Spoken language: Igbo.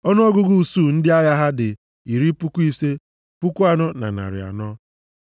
Ọnụọgụgụ usuu ndị agha ha dị iri puku ise, puku anọ na narị anọ (54,400).